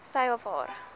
sy of haar